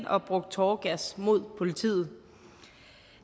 og brugt tåregas mod politiet